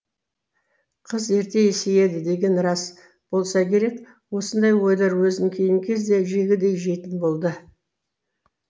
қыз ерте есейеді деген рас болса керек осындай ойлар өзін кейінгі кезде жегідей жейтін болды